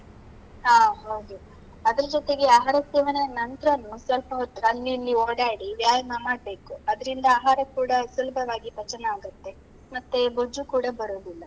ಹಾ ಹೌದು, ಅದ್ರ ಜೊತೆಗೆ ಆಹಾರ ಸೇವನೆಯ ನಂತ್ರನೂ ಸ್ವಲ್ಪ ಹೊತ್ತು ಅಲ್ಲಿ ಇಲ್ಲಿ ಓಡಾಡಿ, ವ್ಯಾಯಾಮ ಮಾಡ್ಬೇಕು. ಅದ್ರಿಂದ ಆಹಾರ ಕೂಡ ಸುಲ್ಭವಾಗಿ ಪಚನ ಆಗುತ್ತೆ, ಮತ್ತೆ ಬೊಜ್ಜು ಕೂಡ ಬರೋದಿಲ್ಲ.